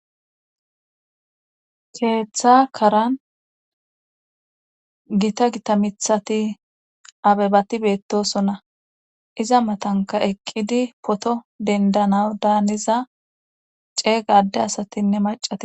Keeththa karan gita gita mithati abebati beettosonna iza matanka eqqidi poto dendana daaniza cee gaadde asatinne macate